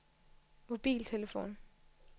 mobiltelefon